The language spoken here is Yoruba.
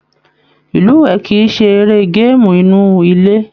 Ilúwẹ kìí ṣe eré gaamu inú ilé.